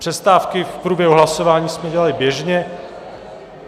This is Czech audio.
Přestávky v průběhu hlasování jsme dělali běžně.